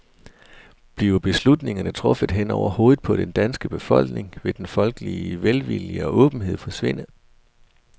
Bliver beslutningerne truffet hen over hovedet på det danske folk, vil den folkelige velvilje og åbenhed forsvinde.